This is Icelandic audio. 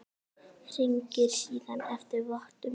Hringir síðan eftir vottum.